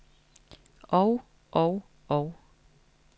og og og